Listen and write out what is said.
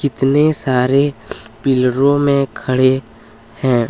इतने सारे पिलरों में खड़े है।